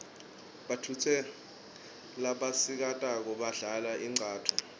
bautfusano labasikati badlal inqcatfu